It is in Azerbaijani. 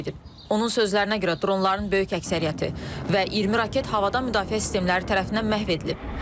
Onun sözlərinə görə dronların böyük əksəriyyəti və 20 raket havadan müdafiə sistemləri tərəfindən məhv edilib.